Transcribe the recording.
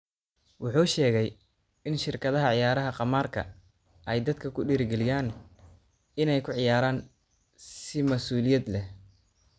Wuxuu sheegay in shirkadaha ciyaaraha khamaarka ay dadka ku dhiirrigelinayaan inay ku ciyaaraan si mas'uuliyad leh.